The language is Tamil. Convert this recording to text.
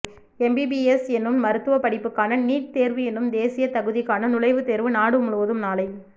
எம்பிபிஎஸ் என்னும் மருத்துவ படிப்புக்கான நீட் தேர்வு என்னும் தேசிய தகுதிகாண் நுழைவுத் தேர்வு நாடு முழுவதும் நாளை